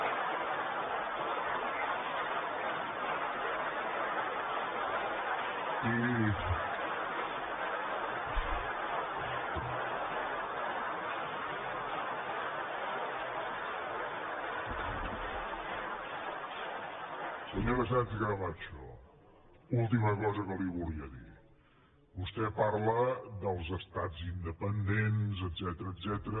i senyora sánchez camacho última cosa que li volia dir vostè parla dels estats independents etcètera